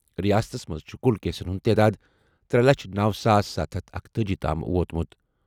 رِیاستَس منٛز چھِ کُل کیسَن ہُنٛد تعداد ترے لچھ نوَ ساس ستھَ ہتھ اکتأجی تام ووتمُت۔